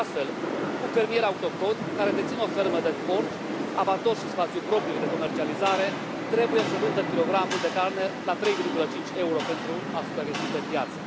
Astfel, un fermier autohton care deține o fermă de porci, abator și spațiu propriu de comercializare trebuie să vândă kilogramul de carne la 3,5 Euro pentru a supraviețui pe piață.